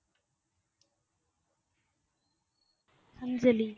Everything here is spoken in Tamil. அஞ்சலி